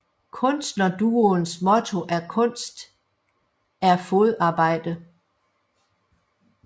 Kunstnerduoens motto er kunst er fodarbejde